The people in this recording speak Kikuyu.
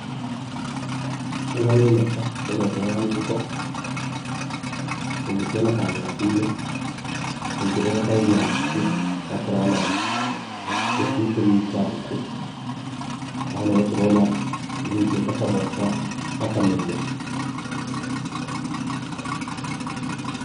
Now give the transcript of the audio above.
Ĩno nĩ nyoka mũthemba wa gĩĩko na nĩcionekaga gĩthaka-inĩ. Na rĩngĩ nĩ yoka area ya mũciĩ yakorana na tũcui tũnini twa ngũkũ haha, nĩho tũrona ĩnyitĩte kamwe na ĩgakameria.